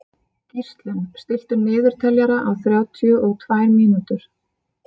Gíslunn, stilltu niðurteljara á þrjátíu og tvær mínútur.